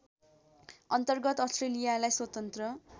अन्तर्गत अस्ट्रेलियालाई स्वतन्त्र